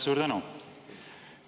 Suur tänu!